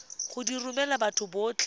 go di romela batho botlhe